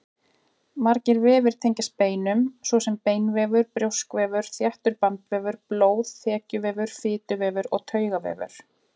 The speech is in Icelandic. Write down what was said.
Margir vefir tengjast beinum, svo sem beinvefur, brjóskvefur, þéttur bandvefur, blóð, þekjuvefur, fituvefur og taugavefur.